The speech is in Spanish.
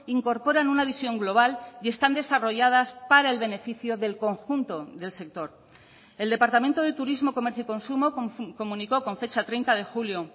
incorporan una visión global y están desarrolladas para el beneficio del conjunto del sector el departamento de turismo comercio y consumo comunicó con fecha treinta de julio